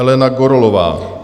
Elena Gorolová.